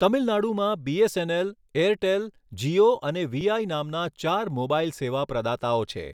તમિલનાડુમાં BSNL, Airtel, Jio અને VI નામના ચાર મોબાઈલ સેવા પ્રદાતાઓ છે.